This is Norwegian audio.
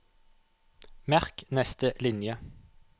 Merk neste linje